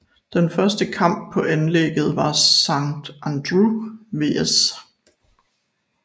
Den første kamp på anlægget var Sant Andreu vs